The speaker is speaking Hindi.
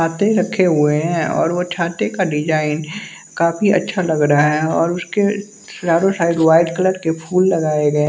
छाते रखे हुए हैं और वो छाते का डिजाइन काफी अच्छा लग रहा है और उसके चारों साइड वाइट कलर के फूल लगाए गए।